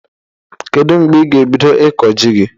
Kedụ mgbe ị ga ebido ịkọ jị gị?